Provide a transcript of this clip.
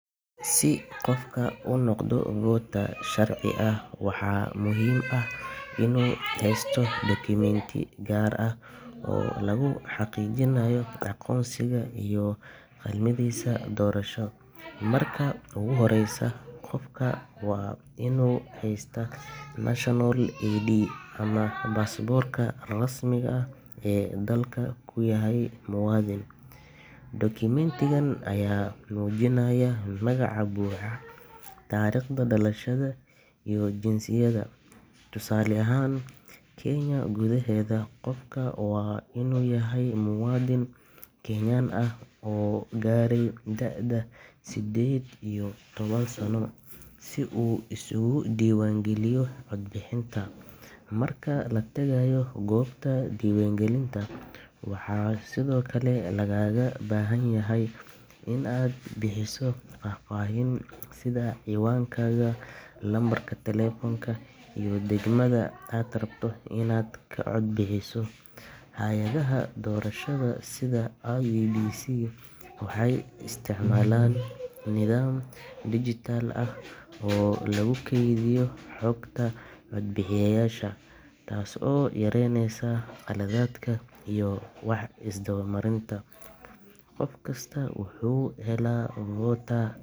iqof u noqdo voter sharci ah, waxaa muhiim ah inuu haysto dukumentiyo gaar ah oo lagu xaqiijinayo aqoonsigiisa iyo u-qalmidiisa doorasho. Marka ugu horreysa, qofka waa inuu haystaa national ID ama baasaboorka rasmiga ah ee dalka uu ka yahay muwaadin. Dukumentigan ayaa muujinaya magaca buuxa, taariikhda dhalashada iyo jinsiyadda. Tusaale ahaan, Kenya gudaheeda, qofka waa inuu yahay muwaadin Kenyan ah oo gaaray da’da siddeed iyo toban sano si uu isugu diiwaangeliyo codbixinta. Marka la tagayo goobta diiwaangelinta, waxaa sidoo kale lagaaga baahan yahay in aad bixiso faahfaahin sida cinwaankaaga, lambarka taleefanka, iyo degmada aad rabto inaad ka codbixiso. Hay’adaha doorashada sida IEBC waxay isticmaalaan nidaam digital ah oo lagu kaydiyo xogta codbixiyeyaasha, taas oo yaraynaysa khaladaadka iyo wax isdaba-marinta. Qof kastaa wuxuu helaa voter.